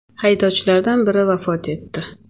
Haydovchilardan biri vafot etdi.